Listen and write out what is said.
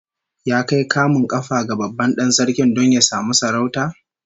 Ya kai kamun kafa ga babban dan sarki don ya samu sarauta?